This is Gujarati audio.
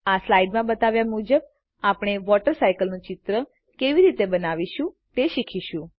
આ સ્લાઈડમાં બતાવ્યા મુજબ આપણે વોટર સાઈકલનું ચિત્ર કેવી રીતે બનાવીશું તે શીખીશું